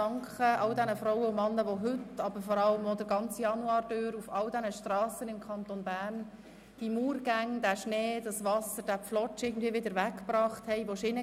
Ich danke allen Frauen und Männern, welche heute und während des ganzen Januars im Kanton Bern Strassen von Murgängen, Schnee und Wasser befreit haben.